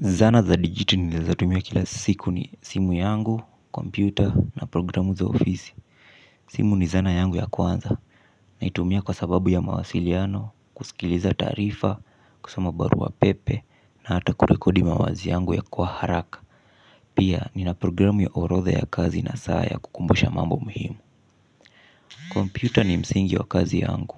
Zana za digiti nezatumia kila siku ni simu yangu, kompyuta na programu za ofisi. Simu ni zana yangu ya kwanza, naitumia kwa sababu ya mawasiliano, kusikiliza tarifa, kusama barua pepe, na hata kurekodi mawazi yangu ya kwa haraka. Pia, nina programu ya orodh ya kazi na saa ya kukumbusha mambo muhimu. Kompyuta ni msingi wa kazi yangu,